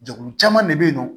Jɛkulu caman de bɛ yen nɔ